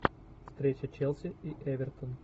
встреча челси и эвертон